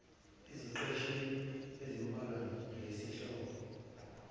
eziqeshini ezimbalwa ngesihloko